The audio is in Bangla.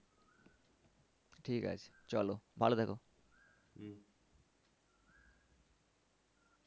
ঠিক আছে চলো ভালো থেকো।